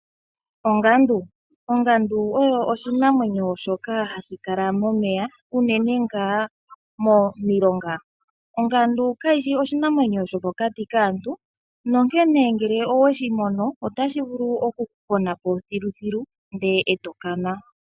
Ongandu Ongandu oyo oshinamwenyo shoka hashi kala momeya unene ngaa momilonga. Ongandu kayi shi oshinamwenyo shomokati kaantu, onkene ngele owe shi mono otashi vulu okukupona po thiluthilu ndele e to kana.